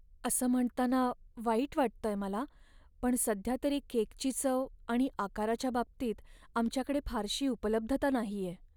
असं म्हणताना वाईट वाटतंय मला, पण सध्यातरी केकची चव आणि आकाराच्या बाबतीत आमच्याकडे फारशी उपलब्धता नाहीये.